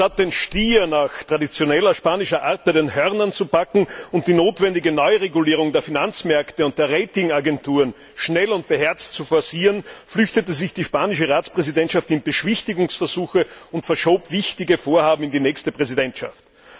Statt den Stier nach traditioneller spanischer Art bei den Hörnern zu packen und die notwendige Neuregulierung der Finanzmärkte und der Rating Agenturen schnell und beherzt zu forcieren, flüchtete sich die spanische Ratspräsidentschaft in Beschwichtigungsversuche und verschob wichtige Vorhaben in die nächste Präsidentschaft.